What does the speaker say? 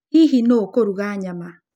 Hihi nũũ ũkũruga nyama?